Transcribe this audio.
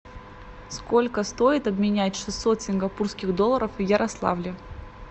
сколько стоит обменять шестьсот сингапурских долларов в ярославле